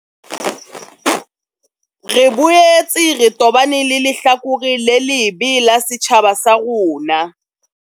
Re boetse re tobane le lehlakore le lebe la setjhaba sa rona.